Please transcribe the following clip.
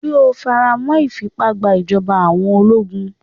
Ṣé o faramọ́ ìfìpá gba ìjọba àwọn ológun?